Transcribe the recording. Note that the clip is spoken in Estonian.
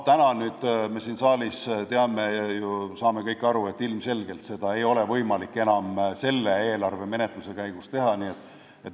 Täna me siin saalis teame ja saame kõik aru, et ilmselgelt ei ole seda võimalik enam selle eelarvemenetluse käigus teha.